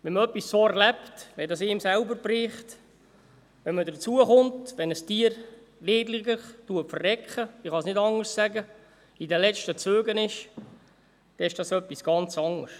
Wenn man so etwas erlebt, wenn es einen selber trifft, wenn man hinzukommt, wenn ein Tier elendiglich «verreckt» – ich kann es nicht anders sagen –, in den letzten Zügen liegt, ist das etwas ganz anderes.